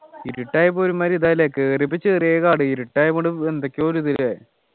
ഇരുട്ടായപ്പോ ഒരുമാതിരി തായി ല്ലേ കേറിയപ്പോൾ ചെറിയ കടേ ഇരുട്ടായി കൊണ്ട് എന്തൊക്കെയോ ഒരു ഇത് അല്ലേ